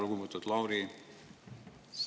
Lugupeetud Lauri!